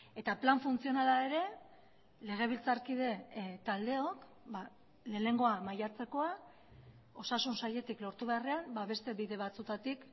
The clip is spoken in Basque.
eta plan funtzionala ere legebiltzarkide taldeok lehenengoa maiatzekoa osasun sailetik lortu beharrean beste bide batzuetatik